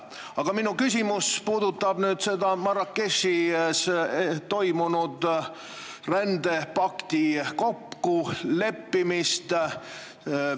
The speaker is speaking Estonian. Aga minu küsimus puudutab Marrakechis toimunud rändepakti kokkuleppimist.